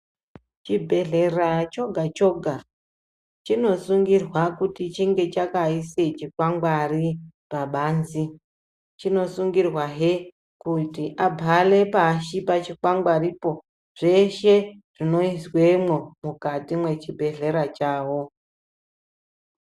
Chibhehlera choga choga chinosungirwa kuti chinge chakaisa chikwangwari pabanze, chinosungirwa hee kuti abhare pashi pachikwangwaripo, zveshe zvinoizwemo mwukati mwechibhehlera chawo.